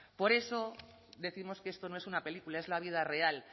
por eso décimos que esto no es una película es la vida real